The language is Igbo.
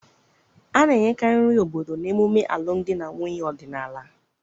A na-enyekarị nri obodo n'emume alụmdi na nwunye ọdịnaala